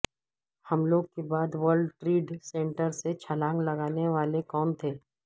حملوں کے بعد ورلڈ ٹریڈ سینٹر سے چھلانگ لگانے والے کون تھے